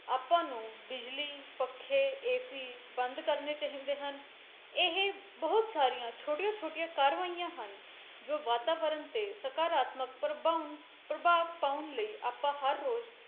ਆਪਾਂ ਨੂੰ ਬਿਜਲੀ, ਪੱਖੇ AC ਬੰਦ ਕਰਨੇ ਚਾਹੀਦੇ ਹਨ ਇਹ ਬਹੁਤ ਸਾਰੀਆਂ ਛੋਟੀਆਂ ਛੋਟੀਆਂ ਕਾਰਵਾਈਆਂ ਹਨ, ਜੋ ਵਾਤਾਵਰਨ ਤੇ ਸਕਾਰਾਤਮਕ ਪ੍ਰਬਾਉਂ ਪ੍ਰਭਾਵ ਪਾਉਣ ਲਈ ਆਪਾਂ ਹਰ ਰੋਜ